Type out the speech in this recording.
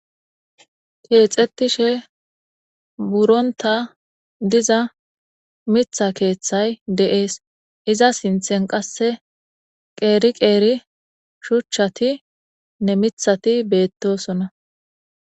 Kexetishe wuronta diza miiththa keeththay deas iza sinten qase qeri qeri shuchatinne miiththati betosona.